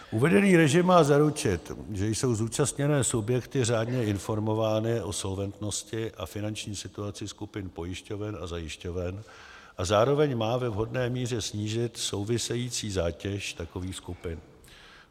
Uvedený režim má zaručit, že jsou zúčastněné subjekty řádně informovány o solventnosti a finanční situaci skupin pojišťoven a zajišťoven, a zároveň má ve vhodné míře snížit související zátěž takovýchto skupin.